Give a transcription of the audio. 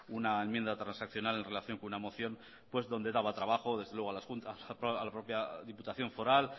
una enmienda transaccional en relación con una moción donde daba trabajo desde luego a las juntas a la propia diputación foral